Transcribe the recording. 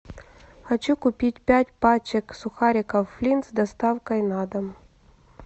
хочу купить пять пачек сухариков флинт с доставкой на дом